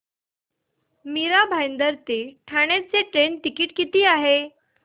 मीरा भाईंदर ते ठाणे चे train ticket किती आहे